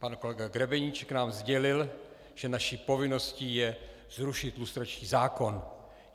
Pan kolega Grebeníček nám sdělil, že naší povinností je zrušit lustrační zákon.